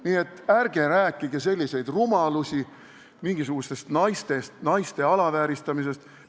Nii et ärge rääkige selliseid rumalusi mingisugusest naiste alavääristamisest.